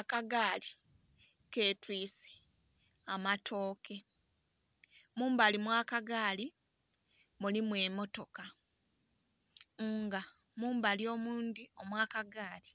Akagaali ketwiise amatooke. Mumbali omw'akagaali mulimu emmotoka nga mumbali omundhi omw'akagaali